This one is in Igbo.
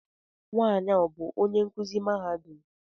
Nwanyi a ọ bú onye nkụzi mahadum?